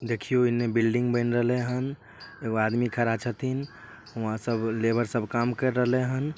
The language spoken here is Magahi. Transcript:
देखीं उ एने बिल्डिंग बन रहले हन एगो आदमी खड़ा छतीं यहां सब लेबर सब काम कर रहले हन।